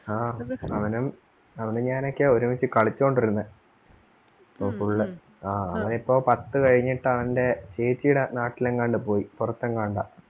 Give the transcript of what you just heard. ആ അവനും, അവനും ഞാനുമൊക്കെയാ ഒരുമിച്ച് കളിച്ചോണ്ട് ഇരുന്നത് ഇപ്പം full ആ അവനിപ്പോ പത്ത് കഴിഞ്ഞിട്ട് അവന്റെ ചേച്ചീടെ നാട്ടിൽ എങ്ങാണ്ട് പോയി പൊറത്തെങ്ങാണ്ട.